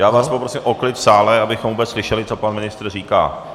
Já vás poprosím o klid v sále, abychom vůbec slyšeli, co pan ministr říká.